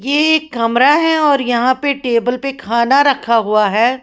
यह एक कमरा है और यहां पे टेबल पे खाना रखा हुआ है।